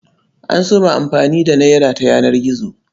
An so ma a fara amfani da nera ta yanar gizo.